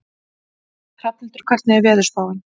Hrafnhildur, hvernig er veðurspáin?